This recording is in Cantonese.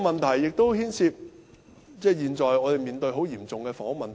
這亦牽涉我們現在所面對的嚴重房屋問題。